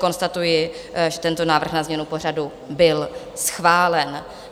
Konstatuji, že tento návrh na změnu pořadu byl schválen.